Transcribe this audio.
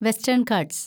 western Ghats